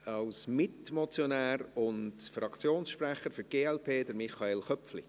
Als Mitmotionär und Fraktionssprecher der glp: Michael Köpfli.